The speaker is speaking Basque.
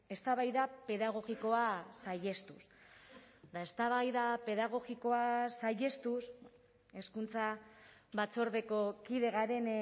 eztabaida pedagogikoa saihestuz eta eztabaida pedagogikoa saihestuz hezkuntza batzordeko kide garen